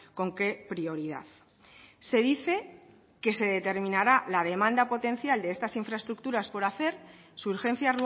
con qué prioridad se dice que se determinará la demanda potencial de estas infraestructuras por hacer su urgencia